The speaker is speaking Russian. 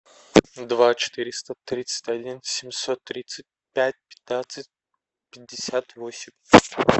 два четыреста тридцать один семьсот тридцать пять пятнадцать пятьдесят восемь